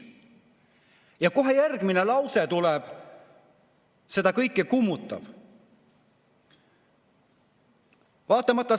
Ja kohe järgmine lause tuleb seda kõike kummutav.